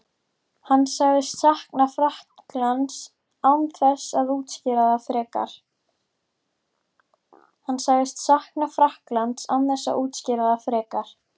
Hann sagðist sakna Frakklands án þess að útskýra það frekar.